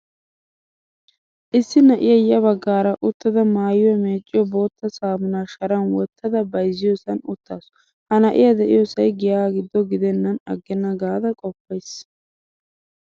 Issi na'iyaa ya baggaara uttada maayuwaa meecciyo boottaa saamuna shaaran woottada bayzziyosan uttasu. Ha na'iyaa deiyosap giya giddo geidenan aggena gaada qopays.